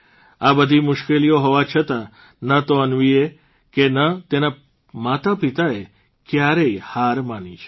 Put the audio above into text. આ બધી મુશ્કેલીઓ હોવા છતાં ન તો અન્વીએ કે ન તેના માતાપિતાએ કયારેય હાર માની છે